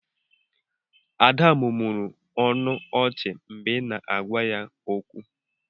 Ada mụmụrụ ọnụ ọchị mgbe ị na-agwa ya okwu.